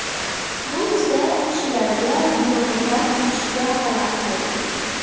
Bu esa kishilarga binoni tark etishga xalaqit bergan.